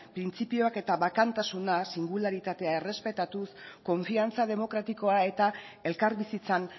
printzipioak eta bakantasuna singuralitatea errespetatuz konfiantza demokratikoa eta elkarbizitzan